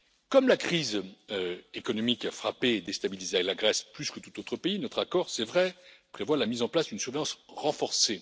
Comme la crise économique a frappé et déstabilisé la Grèce plus que tout autre pays, notre accord, c'est vrai, prévoit la mise en place d'une surveillance renforcée.